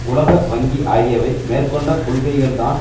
உலக வங்கி ஆகியவை மேற்கொண்ட கொள்கைகள் தான்